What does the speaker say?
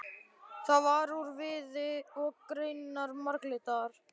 Það var úr viði og greinarnar marglitar.